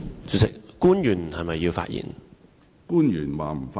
主席，是否有官員要發言？